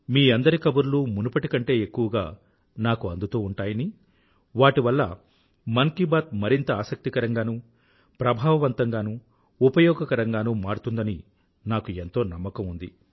మీ అందరి కబుర్లు మునుపటి కంటే ఎక్కువగా నాకు అందుతూ ఉంటాయని వాటి వల్ల మన కీ బాత్ మరింత ఆసక్తికరంగానూ ప్రభావవంతంగాను ఉపయోగకరంగానూ మారుతుందని నాకు ఎంతో నమ్మకం ఉంది